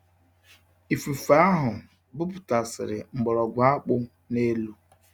Ifufe ahụ bụpụtasịrị mgbọrọgwụ akpu n'elu